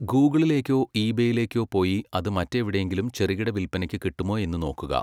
ഗൂഗിളിലേക്കോ ഈ ബെയിലേക്കോ പോയി അത് മറ്റെവിടെയെങ്കിലും ചെറുകിട വില്പ്പനയ്ക്ക് കിട്ടുമോ എന്നു നോക്കുക.